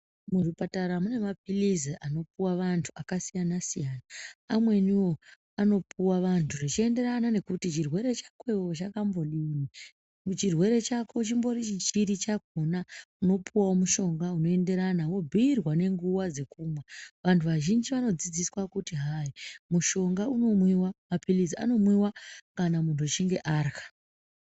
Muzvipatara mune mapilzi anopuwa vamtu akasiyana siyana amweniwo anopuwa vantu zvichienderana nokuti chirwere chako iwewe chakambodini chirwere chako chimbori chiri chakona unopuwawo mushonga unoenderana wobhuyirwa nenguwa dzokumwa. Vantu vazhinji vanodzidziswa kuti hai mushonga unomwiwa, mapilizi anomwiwa kana muntu achinge arya.